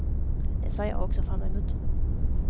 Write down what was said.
Det ser jag också fram emot.